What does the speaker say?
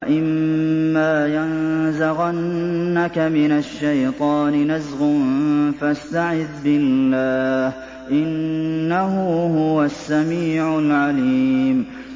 وَإِمَّا يَنزَغَنَّكَ مِنَ الشَّيْطَانِ نَزْغٌ فَاسْتَعِذْ بِاللَّهِ ۖ إِنَّهُ هُوَ السَّمِيعُ الْعَلِيمُ